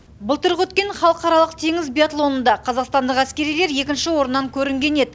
былтырғы өткен халықаралық теңіз биатлонында қазақстандық әскерилер екінші орыннан көрінген еді